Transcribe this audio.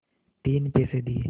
तीन पैसे दिए